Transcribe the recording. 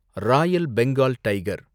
Royal Bengal tiger